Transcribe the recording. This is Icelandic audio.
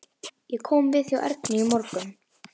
Ég kom við hjá Ernu í morgun.